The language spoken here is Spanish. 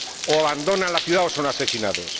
O abandonan la ciudad o son asesinados.